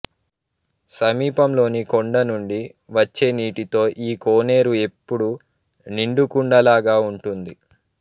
సమీపంలోని కొండ నుండి వచ్చేనీటితో ఈ కోనేరు ఎప్పుడూ నిండుకుండలాగా ఉంటుంది